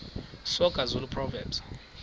soga zulu proverbs